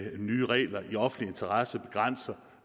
nye regler i offentlig interesse begrænser